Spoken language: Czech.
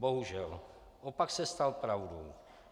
Bohužel, opak se stal pravdou.